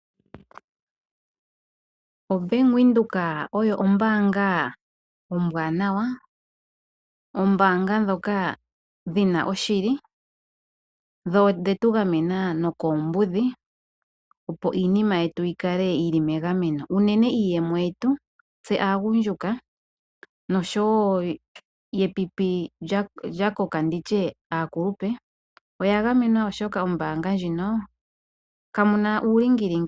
OBank Windhoek oyo ombaanga ombwaanawa. Oombaanga ndhoka dhi na oshili dho odhe tu gamena nokoombudhi, opo iinima yetu yi kale yi li megameno, unene iiyemo yetu tse aagundjuka noshowo epipi lya koka, ano aakulupe. Oya gamwenwa, oshoka mombaanga ndjino kamu na uulingilingi.